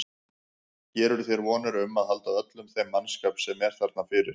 Gerirðu þér vonir um að halda öllum þeim mannskap sem er þarna fyrir?